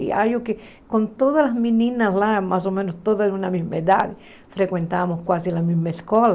E acho que com todas as meninas lá, mais ou menos todas da mesma idade, frequentávamos quase a mesma escola.